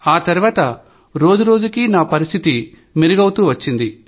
ఆ తర్వాత రోజురోజుకీ నా పరిస్థితిలో మెరుగుదల కన్పించింది